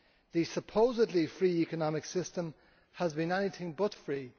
The supposedly free economic system has been anything but free.